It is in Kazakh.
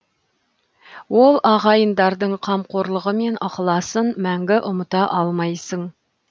ол ағайындардың қамқорлығы мен ықыласын мәңгі ұмыта алмайсың